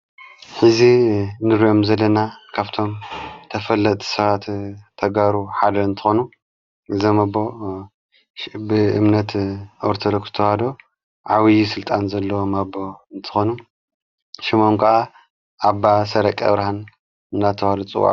ሕዚ ንርዮም ዘለና ካፍቶም ተፈለጥ ሥባት ተጋሩ ሓደ እንተኾኑ ዘመ አቦ ብእምነት ኦርቶዶክስ ተዋህዶ ዓብዪ ሥልጣን ዘለዎም ኣቦ እንተኾኑ ሽሞም ከዓ ኣባ ሠረቀ ኣብርሃን እናተብሃሉ ይጽዉኡ::